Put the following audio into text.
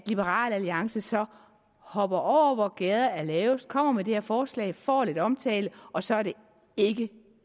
liberal alliances så hopper over hvor gærdet er lavest og kommer med det her forslag får lidt omtale og så er det ikke